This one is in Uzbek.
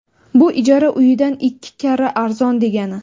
Bu ijara uyidan ikki karra arzon degani.